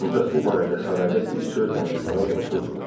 Ancaq bu barədə sarayda bir söz danışmağa qorxurdular.